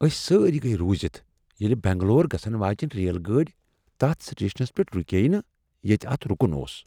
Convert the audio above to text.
اسۍ سٲری گیہ رُوزتھ یییٚلہ بنگلور گژھن واجیٚنۍ ریل گاڑی تتھ سٹیشنس پیٹھ رکییہ نہٕ ییٚتہ اتھ رکن اوس۔